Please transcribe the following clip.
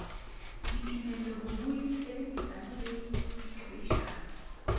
ditumelo borui tshebedisano le diqhwebeshano